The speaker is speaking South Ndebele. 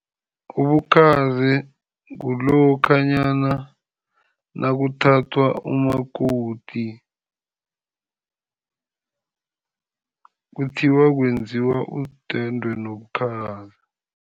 Ubukhazi kulokhanyana nakuthathwa umakoti, kuthiwa kwenziwa idwendwe nobukhazi.